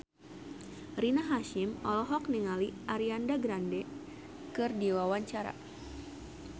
Rina Hasyim olohok ningali Ariana Grande keur diwawancara